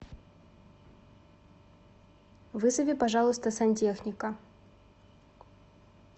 вызови пожалуйста сантехника